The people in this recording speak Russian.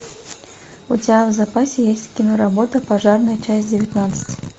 у тебя в запасе есть киноработа пожарная часть девятнадцать